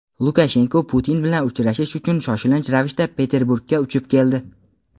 Lukashenko Putin bilan uchrashish uchun shoshilinch ravishda Peterburgga uchib keldi.